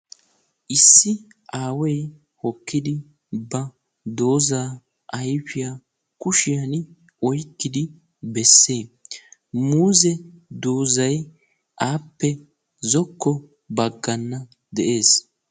ISSI aaway hokkiddi ba doozaz ayfiyan oyqqiddi besees. Muuze doozzay appe bagan de'ees.